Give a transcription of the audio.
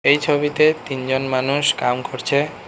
এই ছবিতে তিনজন মানুষ কাম করছে।